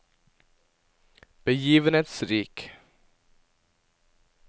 begivenhetsrik